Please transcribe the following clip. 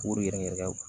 K'o de yɛrɛ kɛ